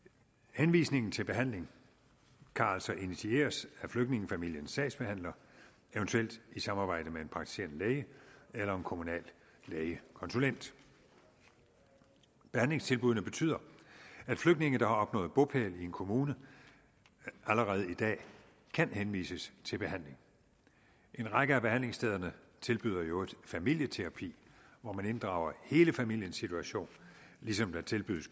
henvisningen til behandling kan altså initieres af flygtningefamiliens sagsbehandler eventuelt i samarbejde med en praktiserende læge eller en kommunal lægekonsulent behandlingstilbuddene betyder at flygtninge der har opnået bopæl i en kommune allerede i dag kan henvises til behandling en række af behandlingsstederne tilbyder i øvrigt familieterapi hvor man inddrager hele familiens situation ligesom der tilbydes